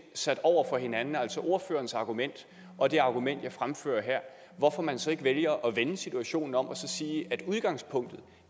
sat over for hinanden altså ordførerens argument og det argument jeg fremfører her hvorfor man så ikke vælger at vende situationen om og sige at udgangspunktet